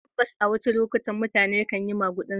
Tabbas, a wasu lokutan mutane kan yi magudin zabe.